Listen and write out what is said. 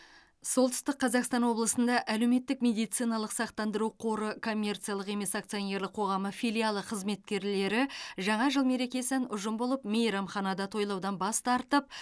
солтүстік қазақстан облысында әлеуметтік медициналық сақтандыру қоры коммерциялық емес акционерлік қоғамы филиалы қызметкерлері жаңа жыл мерекесін ұжым болып мейрамханада тойлаудан бас тартып